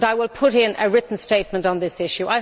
I will put in a written statement on this issue.